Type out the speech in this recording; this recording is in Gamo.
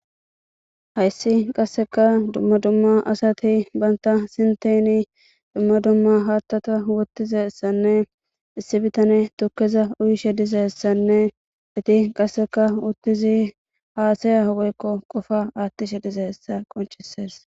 hayssi qassekka dumma dumma assati bantta sintteni dumma dumma hattata wottizayssanne issi bitane tukeza uyiishshe dizayssanne etti qassekka uttidi haasaya woykko qofa attishshe dizayssa qoncisees